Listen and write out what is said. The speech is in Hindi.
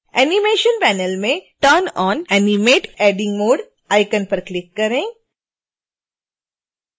animation panel में turn on animate editing mode icon पर क्लिक करें